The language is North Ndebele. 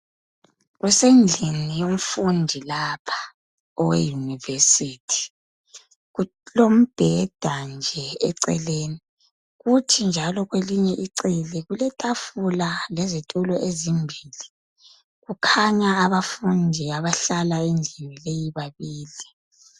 Kusendlini yomfundi lapha owe university. Kulombheda nje eceleni .Kuthi njalo kwelinye icele kuletafula lezitulo ezimbili . Kukhanya abafundi abahlala endlini leyi babili.